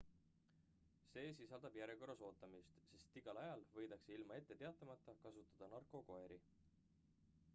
see sisaldab järjekorras ootamist sest igal ajal võidakse ilma etteteatamata kasutada narkokoeri